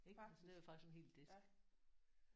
Ik? Det er faktisk en hel disk